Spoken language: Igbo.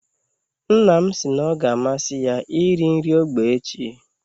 Nna m si na ọ ga amasị ya iri nri ógbè echi.